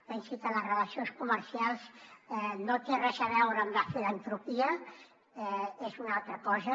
pensi que les relacions comercials no tenen res a veure amb la filantropia són una altra cosa